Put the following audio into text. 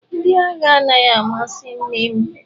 Ndị agha anaghị amasị nnem.